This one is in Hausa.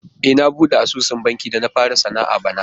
E, na buɗe sabon asusun banki da na fara sana'a bana.